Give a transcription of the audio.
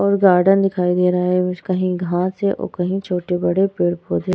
और गार्डन दिखाई दे रहा है और कहीं घाँस हैं और कहीं छोटे बड़े पेड़ पौधे।